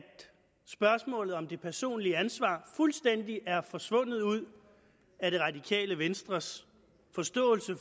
spørgsmålet om det personlige ansvar fuldstændig er forsvundet ud af det radikale venstres forståelse